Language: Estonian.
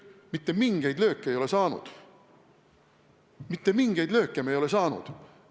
Mitte mingeid lööke meie maine ei ole saanud!